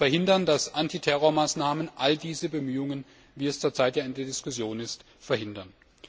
Und wir müssen verhindern, dass Antiterrormaßnahmen all diese Bemühungen, wie es zurzeit ja in der Diskussion ist, verhindern.